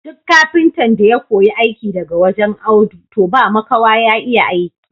Duk kafintan da ya koyi aiki daga wajen Audu toh ba makawa ya iya aiki.